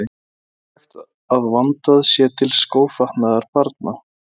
Það er mikilvægt að vandað sé til skófatnaðar barna.